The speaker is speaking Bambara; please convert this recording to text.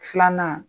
Filanan